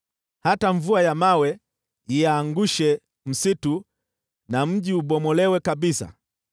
Hata kama mvua ya mawe iangushe msitu na mji ubomolewe kabisa,